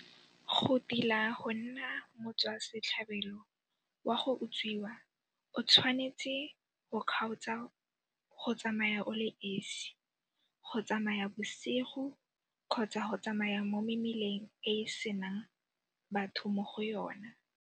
Go tila go nna motswa setlhabelo wa go utswiwa o tshwanetse go kgaotsa go tsamaya o le esi, go tsamaya bosigo kgotsa go tsamaya mo mebileng e go senang batho mo go yona.